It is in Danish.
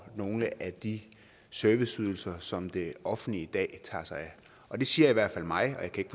nogle af de serviceydelser som det offentlige i dag tager sig af og det siger i hvert fald mig og jeg kan